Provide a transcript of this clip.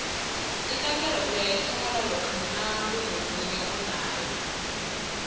ikankere uyayithola lokha nakunomunye onayo